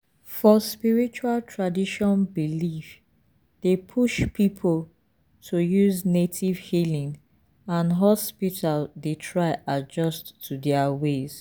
for spiritual tradition belief dey push people to use native healing and hospital dey try adjust to their ways.